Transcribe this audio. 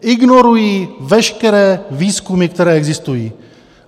Ignorují veškeré výzkumy, které existují.